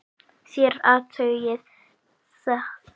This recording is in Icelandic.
Þér athugið það.